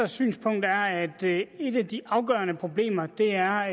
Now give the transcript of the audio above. synspunkt er at et af de afgørende problemer er